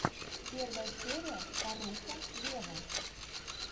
первая серия фарруко вево